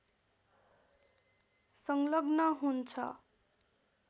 संलग्न हुन्छ